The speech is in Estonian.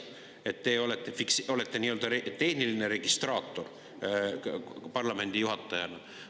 Et te olete nii-öelda tehniline registraator parlamendi juhatajana.